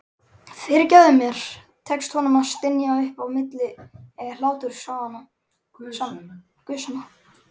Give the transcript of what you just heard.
Fyrirgefðu mér, tekst honum að stynja upp á milli hlátursgusanna.